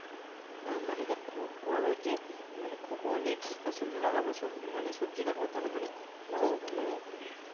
হ্যাঁ মানে দেখ খুব বড়ো যে মানে খুব অনেক ফসল লাগাবো সো মানে সবজি লাগাবো তা না মানে সেরকম মানে